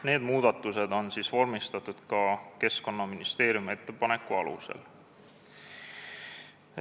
Need muudatused on vormistatud ka Keskkonnaministeeriumi ettepaneku alusel.